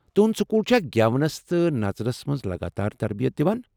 تہنٛد سکول چھا گٮ۪ونس تہٕ نژنس منز لگاتار تربیتھ دوان؟